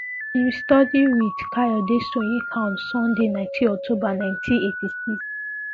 im study wit Kayode Soyinka on Sunday Nineteen October Ninety Eighty Six